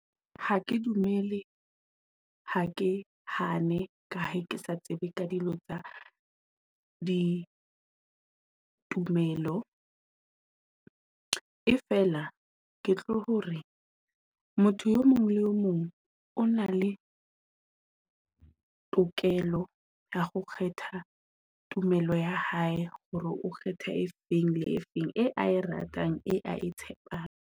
Ha ke dumele ha ke hane ka ha ke sa tsebe ka dilo tsa di tumelo. E fela ke tlo hore motho e mong le mong o na le tokelo ya ho kgetha tumelo ya hae hore o kgetha e feng, le e feng eo ae ratang a e tshepang.